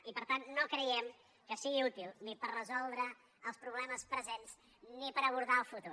i per tant no creiem que sigui útil ni per resoldre els problemes presents ni per abordar el futur